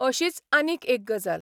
अशीच आनीक एक गजाल.